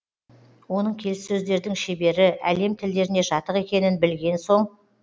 оның келіссөздердің шебері әлем тілдеріне жатық екенін білген соң